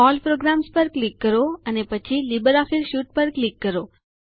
all programs પર click કરો અને પછી લિબ્રિઓફિસ સુતે પર ક્લિક કરો